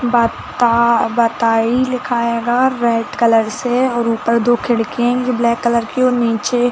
बा ता बाताई लिखा हैगा रैड कलर से और ऊपर दो खिड़कियाँ है जो ब्लैक कलर की है और नीचे --